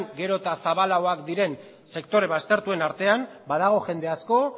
gero eta zabalagoak diren sektore baztertuen artean badago jende asko